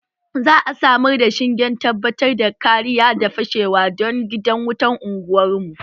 Za a samar da shingen tabbatar da kariya daga fashewa don gidan wutan unguwar mu